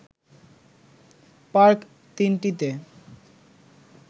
park ৩টিতে